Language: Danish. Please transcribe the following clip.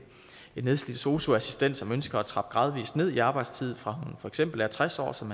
nedslidt sosu assistent som ønsker at trappe gradvist ned i arbejdstid fra hun for eksempel er tres år som